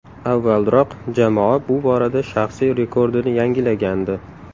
Avvalroq jamoa bu borada shaxsiy rekordini yangilagandi .